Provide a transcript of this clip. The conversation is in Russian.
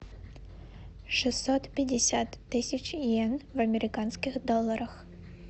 шестьсот пятьдесят тысяч йен в американских долларах